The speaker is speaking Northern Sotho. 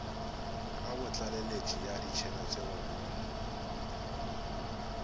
kabotlaleletši ya ditšhelete go ruma